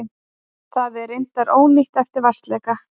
Það er reyndar ónýtt eftir vatnsleka